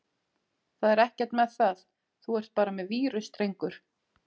Það er ekkert með það, þú ert bara með vírus drengur!